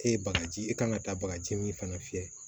E ye bagaji e kan ka taa bagaji min fana fiyɛ